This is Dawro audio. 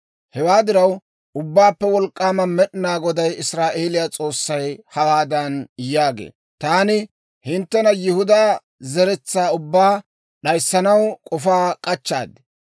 «Hewaa diraw, Ubbaappe Wolk'k'aama Med'inaa Goday, Israa'eeliyaa S'oossay, hawaadan yaagee; taani hinttena yihudaa zeretsaa ubbaa, d'ayissanaw k'ofaa k'achchaad.